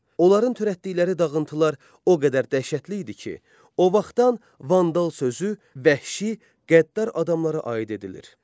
Onların törətdikləri dağıntılar o qədər dəhşətli idi ki, o vaxtdan vandal sözü vəhşi, qəddar adamlara aid edilir.